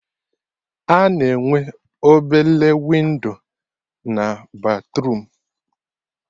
A na-enwe obele windo na batruum